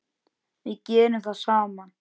Við gerðum það saman.